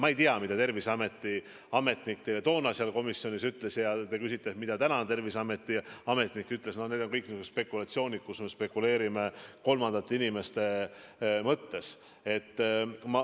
Ma ei tea, mida Terviseameti ametnik teile toona seal komisjonis ütles, ja kui te küsite, mida täna Terviseameti ametnik ütleks, siis need on kõik spekulatsioonid, me spekuleerime kolmandate inimeste mõtete üle.